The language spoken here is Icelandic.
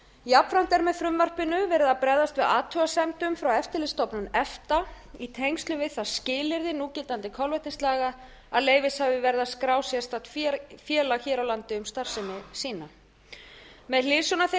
jafnframt er með frumvarpinu verið að bregðast við athugasemdum frá eftirlitsstofnun efta í tengslum við það skilyrði núgildandi kolvetnislaga að leyfishafi verði að skrá sérstakt félag hér á landi um starfsemi sína með hliðsjón af þeirri reynslu